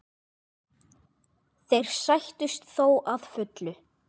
Þeir sættust þó að fullu.